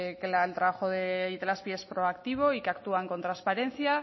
que el trabajo de itelazpi es proactivo y que actúan con transparencia